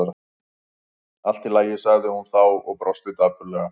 Allt í lagi- sagði hún þá og brosti dapurlega.